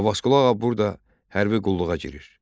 Abbasqulu Ağa burada hərbi qulluğa girir.